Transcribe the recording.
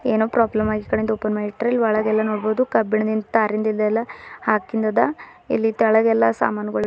ಏನೋ ಪ್ರೊಬ್ಲಮ್ ಆಗಿ ಈ ಕಡೆ ಇಂದ ಓಪನ್ ಮಾಡಿ ಇಟ್ಟರ ಇಲ್ಲಿ ಒಳಗೆ ಎಲ್ಲ ನೋಡ್ಬೊದು ಕಬ್ಬಿಣದ ತಾರಿಂದಿದೆಲ್ಲ ಅಕಿಂದ್ ಅದ ಇಲ್ಲಿ ತೆಳಗೆಲ್ಲಾ ಸಾಮನುಗಳು--